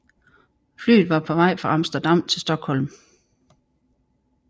Flyet var på vej fra Amsterdam til Stockholm